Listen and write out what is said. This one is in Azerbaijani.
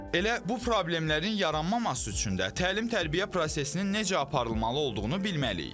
Elə bu problemlərin yaranmaması üçün də təlim-tərbiyə prosesinin necə aparılmalı olduğunu bilməliyik.